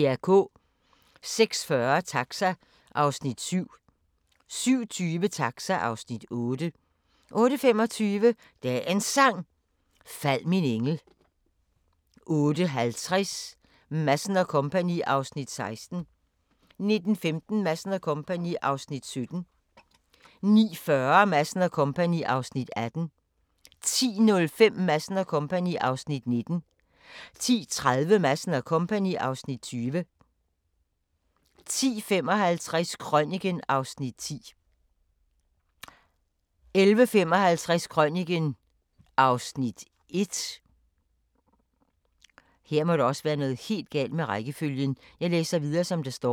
06:40: Taxa (Afs. 7) 07:20: Taxa (Afs. 8) 08:25: Dagens Sang: Fald min engel 08:50: Madsen & Co. (Afs. 16) 09:15: Madsen & Co. (Afs. 17) 09:40: Madsen & Co. (Afs. 18) 10:05: Madsen & Co. (Afs. 19) 10:30: Madsen & Co. (Afs. 20) 10:55: Krøniken (Afs. 10) 11:55: Krøniken (Afs. 1)